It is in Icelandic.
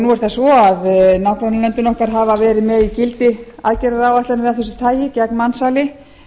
nú er það svo að nágrannlöndin okkar hafa verið með í gildi aðgerðaáætlanir af þessu tagi gegn mansali